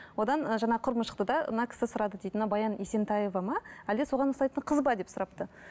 одан жаңа құрбым шықты да мына кісі сұрады дейді мына баян есентаева ма әлде соған ұқсайтын қыз ба деп сұрапты